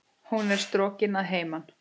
Hún er strokin að heiman.